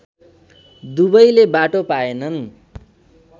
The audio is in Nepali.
दुवैले बाटो पाएनन्